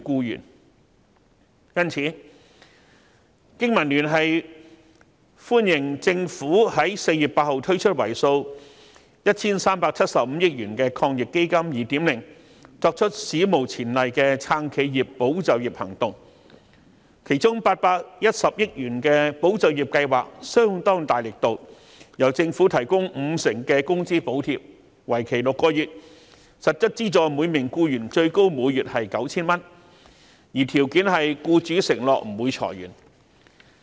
因此，經民聯歡迎政府在4月8日推出為數 1,375 億元的抗疫基金 2.0， 作出史無前例的撐企業、保就業行動，其中810億元的保就業計劃力度相當大，由政府提供五成的工資補貼，為期6個月，向每名僱員提供最高每月為 9,000 元的實質資助，條件是僱主承諾不會裁員。